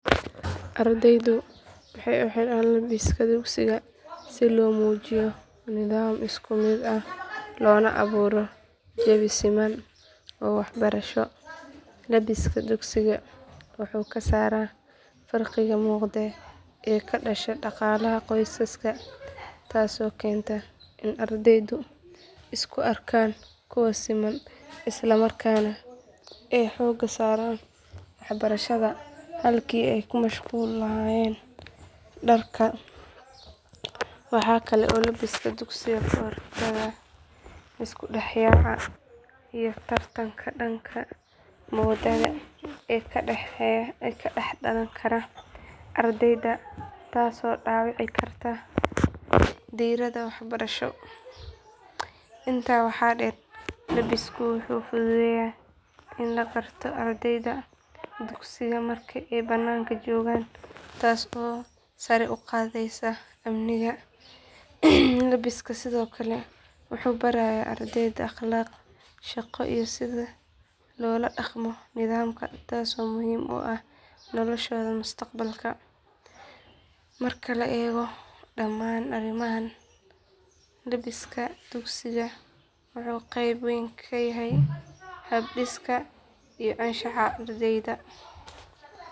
Ardaydu waxay u xidhaan labiska dugsiga si loo muujiyo nidaam isku mid ah loona abuuro jawi siman oo waxbarasho. Labbiska dugsiga wuxuu ka saaraa farqiga muuqda ee ka dhasha dhaqaalaha qoysaska taasoo keenta in ardaydu isku arkaan kuwo siman islamarkaana ay xoogga saaraan waxbarashada halkii ay ka mashquuli lahaayeen dharka. Waxa kale oo labbiska dugsigu ka hortagaa isku dhex yaaca iyo tartanka dhanka moodada ee ka dhex dhalan kara ardayda taasoo dhaawici karta diiradda waxbarasho. Intaa waxaa dheer labbisku wuxuu fududeeyaa in la garto ardayda dugsiga marka ay bannaanka joogaan taas oo sare u qaadaysa amniga. Labbiska sidoo kale wuxuu barayaa ardayda akhlaaqda shaqo iyo sida loola dhaqmo nidaamka taasoo muhiim u ah noloshooda mustaqbalka. Marka la eego dhammaan arrimahan labbiska dugsigu wuxuu qayb weyn ka yahay hab dhiska iyo anshaxa ardayga.